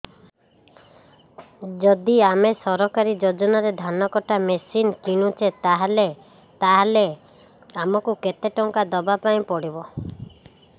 ଯଦି ଆମେ ସରକାରୀ ଯୋଜନାରେ ଧାନ କଟା ମେସିନ୍ କିଣୁଛେ ତାହାଲେ ଆମକୁ କେତେ ଟଙ୍କା ଦବାପାଇଁ ପଡିବ